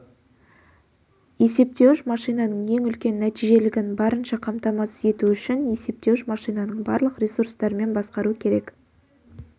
есептеуіш машинаның ең үлкен нәтижелілігін барынша қамтамасыз ету үшін есептеуіш машинаның барлық ресурстарымен басқару керек